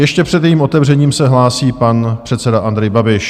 Ještě před jejím otevřením se hlásí pan předseda Andrej Babiš.